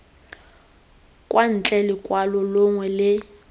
kwa ntle lokwalo longwe le